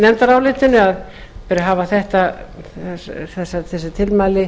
nefndarálitinu að það beri að hafa þessi tilmæli